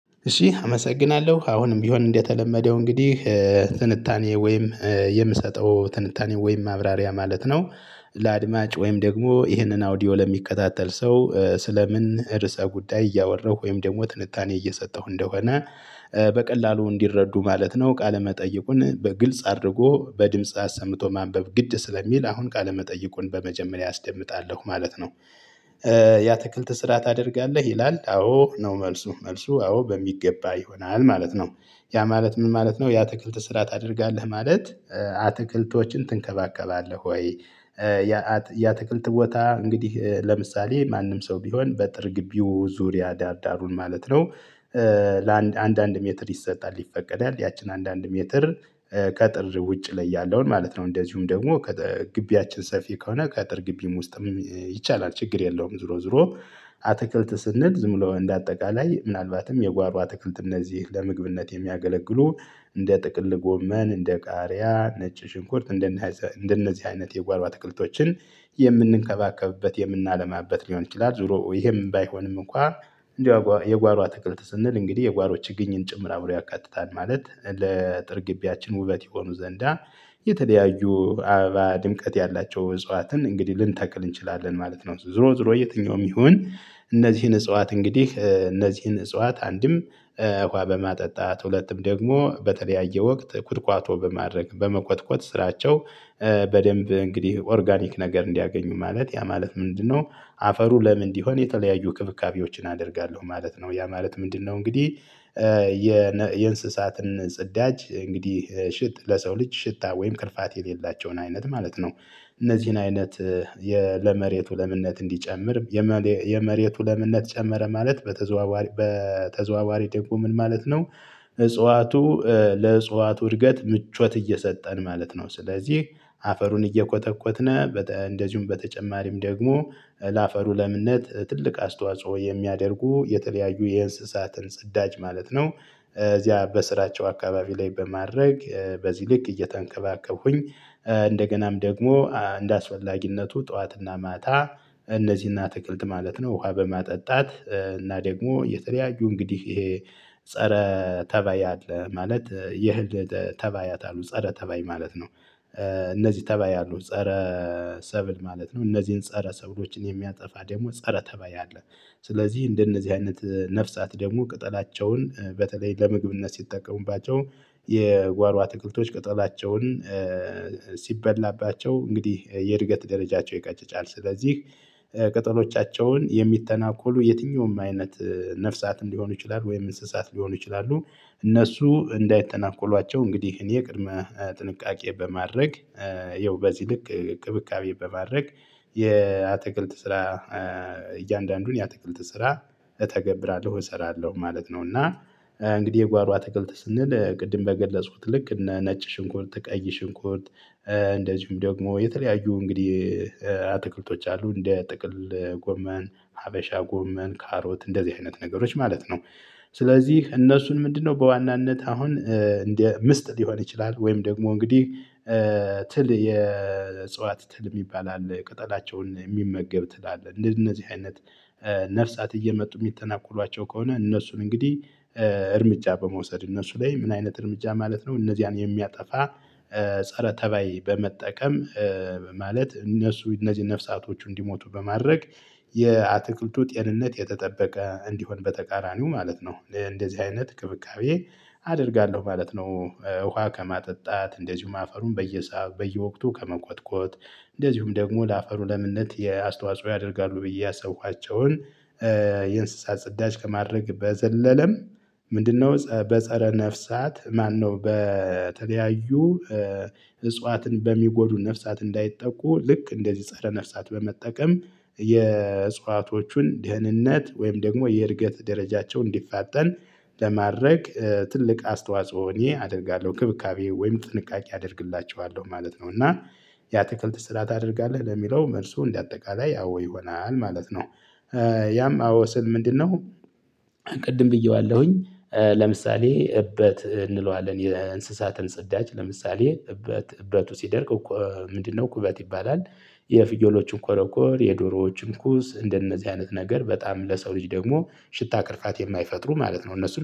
እሺ አመሰግናለሁ አሁንም ቢሆን እንደተለመደው እንግዲህ ትንታኔ ወይም የምሰጠው ትንታኔ ወይም ማብራሪያ ማለት ነው። ለአድማጭ ወይም ደግሞ ይህንን አውዲዮ ለሚከታተል ሰው ስለ ምን ርዕሰ ጉዳይ እያወራሁ ወይም ደግሞ ትንታኔ እየሰጠሁ እንደሆነ። በቀላሉ እንዲረዱ ማለት ነው ቃለ መጠይቁን በግልጽ አድርጎ በድምጽ አሰምቶ ማንበብ ግድ ስለሚል አሁን ቃለ መጠይቁን በመጀመሪያ አስደምጣለሁ ማለት ነው። የአትክልት ስራ ታደርጋለህ ይላል? አዎ ነው መልሱ መልሱ አዎ በሚገባ ይሆናል ማለት ነው። ያ ማለት ምን ማለት ነው? የአትክልት ስራ ታደርጋለህ ማለት። አትክልቶችን ትንከባከባለህ ወይ? የአት የአትክልት ቦታ እንግዲህ ለምሳሌ ማንም ሰው ቢሆን በጥር ግቢው ዙሪያ ዳር ዳሩን ማለት ነው። ለአንድ አንድ አንድ ሜትር ይሰጣል ይፈቀዳል ያቺን አንድ አንድ ሜትር። ቀጥር ውጭ ላይ ያለውን ማለት ነው። እንደዚሁም ደግሞ ከጠ ግቢያችን ሰፊ ከሆነ ከጥር ግቢም ውስጥም ይቻላል ችግር የለውም። ዙሮ ዙሮ። አትክልት ስንል ዝም ብሎ እንደ አጠቃላይ ምናልባትም የጓሮ አትክልት እነዚህ ለምግብነት የሚያገለግሉ። እንደ ጥቅል ጎመን እንደ ቃሪያ ነጭ ሽንኩርት እንደነዘ እንደነዚህ አይነት የጓሮ አትክልቶችን የምንንከባከብበት የምናለማበት ሊሆን ይችላል። ዙሮ ይሄም ባይሆንም እንኳ። እንዲያው የጓ የጓሮ አትክልት ስንል እንግዲህ የጓሮ ችግኝን ጭምር አብሮ ያካትታል ማለት ለጥር ግቢያችን ውበት ይሆኑ ዘንዳ። የተለያዩ አበባ ድምቀት ያላቸው እጽዋትን እንግዲህ ልንተክል እንችላለን ማለት ነው። ዙሮ ዙሮ የትኛውም ይሁን። እነዚህን እጽዋት እንግዲህ እነዚህን እጽዋት አንድም ውሃ በማጠጣት ሁለትም ደግሞ በተለያየ ወቅት ኩትኳቶ በማድረግ በመኮትኮት ስራቸው። በደንብ እንግዲህ ኦርጋኒክ ነገር እንዲያገኙ ማለት ያ ማለት ምንድነው? አፈሩ ለም እንዲሆን የተለያዩ ክብካቤዎችን አደርጋለሁ ማለት ነው። ያ ማለት ምንድነው? እንግዲህ። የነ የእንስሳትን ጽዳጅ እንግዲህ ሽጥ ለሰው ልጅ ሽታ ወይም ክርፋት የሌላቸውን አይነት ማለት ነው። እነዚህን አይነት። የ ለመሬቱ ለምነት እንዲጨምር የመሌ የመሬቱ ለምነት ጨመረ ማለት በተዘዋዋሪ በተዘዋዋሪ ደግሞ ምን ማለት ነው? እጽዋቱ ለእጽዋቱ እድገት ምቾት እየሰጠን ማለት ነው። ስለዚህ አፈሩን እየኮተኮትነ በጠ እንደዚሁም በተጨማሪም ደግሞ ለአፈሩ ለምነት ትልቅ አስተዋጽኦ የሚያደርጉ የተለያዩ የእንስሳትን ጽዳጅ ማለት ነው። እዚያ በስራቸው አካባቢ ላይ በማድረግ በዚህ ልክ እየተንከባከቡኝ። እንደገናም ደግሞ እንደ አስፈላጊነቱ ጠዋት እና ማታ። እነዚህን አትክልት ማለት ነው ውሃ በማጠጣት እና ደግሞ የተለያዩ እንግዲህ ይሄ። ፀረ ተባይ አለ ማለት የህል ጠ ተባያት አሉ ፀረ ተባይ ማለት ነው። እነዚህ ተባይ አሉ ፀረ ሰብል ማለት ነው። እነዚህን ፀረ ሰብሎችን የሚያጠፋ ደግሞ ፀረ ተባይ አለ። ስለዚህ እንደነዚህ አይነት ነፍሳት ደግሞ ቅጠላቸውን በተለይ ለምግብነት ሲጠቀሙባቸው የጓሮ አትክልቶች ቅጠላቸውን ሲበላባቸው እንግዲህ የእድገት ደረጃቸው ይቀጭጫል። ስለዚህ ቅጠሎቻቸውን የሚተናኮሉ የትኛውም አይነት ነፍሳትም ሊሆኑ ይችላል ወይም እንስሳት ሊሆኑ ይችላሉ። እነሱ እንዳይተናኮሏቸው እንግዲህ እኔ ቅድመ ጥንቃቄ በማድረግ። ይኸው በዚህ ልክ እንክብካቤ በማድረግ የአትክልት ስራ። እያንዳንዱን የአትክልት ስራ እተገብራለሁ እሰራለሁ ማለት ነው። እና እንግዲህ የጓሮ አትክልት ስንል ቅድም በገለጽኩት ልክ እነ ነጭ ሽንኩርት ቀይ ሽንኩርት። እንደዚሁም ደግሞ የተለያዩ እንግዲህ አትክልቶች አሉ እንደ ጥቅል ጎመን ሀበሻ ጎመን ካሮት እንደዚህ አይነት ነገሮች ማለት ነው። ስለዚህ እነሱን ምንድነው? በዋናነት አሁን እንደ ምስጥ ሊሆን ይችላል ወይም ደግሞ እንግዲህ። ትል የእጽዋት ትል እሚባል አለ ቅጠላቸውን የሚመገብ ትላለህ እንደነዚህ አይነት። ነፍሳት እየመጡ ሚተናኮሏቸው ከሆነ እነሱን እንግዲህ። እርምጃ በመውሰድ እነሱ ላይ ምን አይነት እርምጃ ማለት ነው እነዚያን የሚያጠፋ። ፀረ ተባይ በመጠቀም። ማለት እነሱ እነዚህ ነፍሳቶቹ እንዲሞቱ በማድረግ። የአትክልቱ ጤንነት የተጠበቀ እንዲሆን በተቃራኒው ማለት ነው። ለእንደዚህ አይነት እንክብካቤ አደርጋለሁ ማለት ነው። ውሃ ከማጠጣት እንደዚሁም አፈሩን በየሰዓ በየወቅቱ ከመኮትኮት። እንደዚሁም ደግሞ ለአፈሩ ለምነት የአስተዋጽኦ ያደርጋሉ ብዬ ያሰብኳቸውን። የእንስሳት ጽዳጅ ከማድረግ በዘለለም ምንድነው? ጸ በጸረ ነፍሳት ማነው በተለያዩ። እጽዋትን በሚጎዱ ነፍሳት እንዳይጠቁ ልክ እንደዚህ ፀረ ነፍሳት በመጠቀም። የእጽዋቶቹን ደህንነት ወይም ደግሞ የእድገት ደረጃቸው እንዲፋጠን ለማድረግ። ትልቅ አስተዋጽኦ እኔ አደርጋለሁ እንክብካቤ ወይም ጥንቃቄ አደርግላችኋለሁ ማለት ነው። እና የአትክልት ስራ ታደርጋለህ ለሚለው መልሱ እንደ አጠቃላይ አዎ ይሆናል ማለት ነው። ያም አዎ ስል ምንድነው? ቅድም ብዬዋለሁኝ። ለምሳሌ እበት እንለዋለን የእንስሳትን ጽዳጅ ለምሳሌ እበት እበቱ ሲደርቅ እኮ ምንድነው ኩበት ይባላል። የፍየሎቹን ኮረቆፐኮር የዶሮዎቹን ኩስ እንደነዚህ አይነት ነገር በጣም ለሰው ልጅ ደግሞ ሽታ ቅርፋት የማይፈጥሩ ማለት ነው። እነሱ